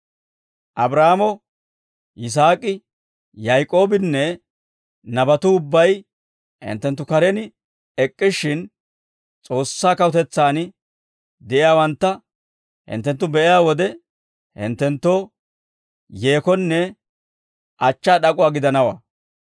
«Abraahaamo, Yisaak'i, Yaak'oobinne nabatuu ubbay hinttenttu karen ek'k'ishshin, S'oossaa kawutetsaan de'iyaawantta hinttenttu be'iyaa wode, hinttenttoo yeekonne achchaa d'ak'uwaa gidanawaa.